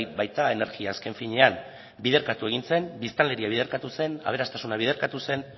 baita energia azken finean biderkatu egin zen biztanleria biderkatu zen aberastasuna biderkatu zen